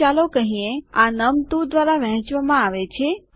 તો ચાલો કહીએ આ નમ2 દ્વારા વહેંચવામાં આવે છે